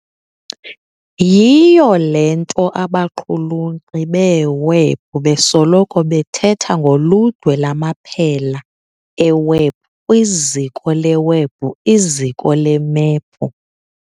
Yiyo le nto abaqhulunkqi beewebhu besoloko bethetha ngoludwe lwamaphela ewebhu kwiziko lewebhu iziko lemephu.